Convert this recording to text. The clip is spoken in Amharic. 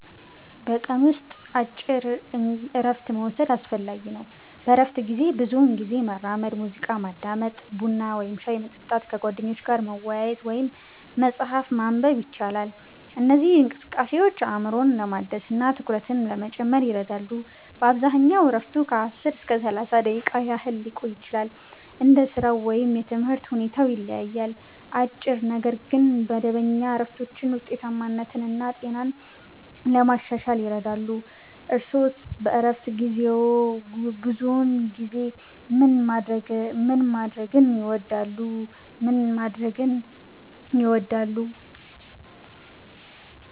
በቀን ውስጥ አጭር እረፍት መውሰድ አስፈላጊ ነው። በእረፍት ጊዜ ብዙውን ጊዜ መራመድ፣ ሙዚቃ ማዳመጥ፣ ቡና ወይም ሻይ መጠጣት፣ ከጓደኞች ጋር መወያየት ወይም መጽሐፍ ማንበብ ይቻላል። እነዚህ እንቅስቃሴዎች አእምሮን ለማደስ እና ትኩረትን ለመጨመር ይረዳሉ። በአብዛኛው እረፍቱ ከ10 እስከ 30 ደቂቃ ያህል ሊቆይ ይችላል፣ እንደ ሥራው ወይም የትምህርት ሁኔታው ይለያያል። አጭር ነገር ግን መደበኛ እረፍቶች ውጤታማነትን እና ጤናን ለማሻሻል ይረዳሉ። እርስዎስ በእረፍት ጊዜዎ ብዙውን ጊዜ ምን ማድረግ ይወዳሉ?